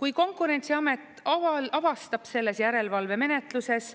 Kui Konkurentsiamet avastab selles järelevalvemenetluses,